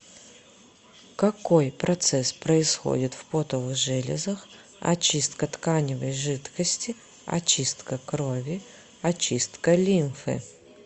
какой процесс происходит в потовых железах очистка тканевой жидкости очистка крови очистка лимфы